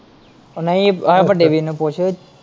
ਓ ਨਈ ਆ ਵੱਡੇ ਵੀਰ ਨੂੰ ਪੁੱਛ।